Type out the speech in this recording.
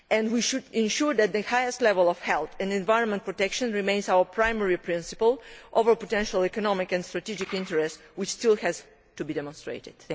We should ensure that the highest level of health and environmental protection remains our primary principle, over potential economic and strategic interests which still have to be demonstrated.